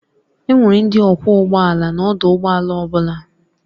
Enwere ndị ọkwọ ụgbọ ala n'ọdụ ụgbọ ala ọ bụla